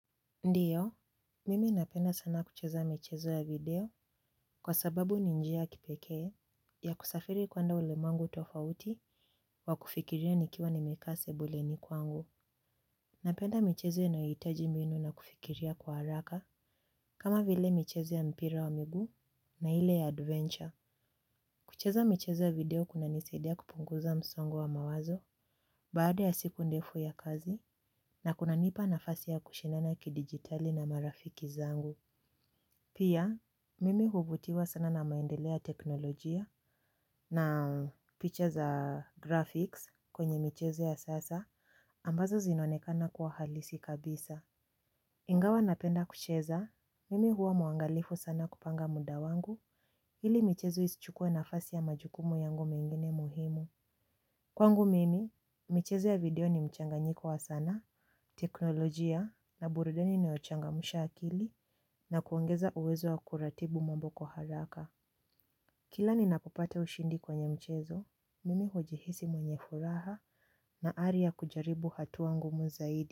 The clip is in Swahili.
Ndiyo, mimi napenda sana kucheza michezo ya video kwa sababu ni njia kipekee ya kusafiri kuenda ulemwengu tofauti wa kufikiria nikiwa nimekaa sebuleni kwangu. Napenda michezo yanayohitaji mbinu na kufikiria kwa haraka kama vile michezo ya mpira wa miguu na ile ya adventure. Kucheza michezo ya video kunanisaidia kupunguza msongo wa mawazo baada ya siku ndefu ya kazi na kunanipa nafasi ya kushinana kidigitali na marafiki zangu. Pia, mimi huvutiwa sana na maendeleo ya teknolojia na picha za graphics kwenye michezo ya sasa ambazo zinaonekana kwa halisi kabisa. Ingawa napenda kucheza, mimi huwa mwangalifu sana kupanga muda wangu hili michezo isichukue nafasi ya majukumu yangu mengine muhimu. Kwangu mimi, michezo ya video ni mchanganyiko wa sana, teknolojia na burudani inayochangamsha akili na kuongeza uwezo wa kuratibu mambo kwa haraka. Kila ni napopata ushindi kwenye mchezo, mimi hujihisi mwenye furaha na aria kujaribu hatua ngumu zaidi.